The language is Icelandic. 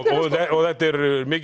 og þetta er mikið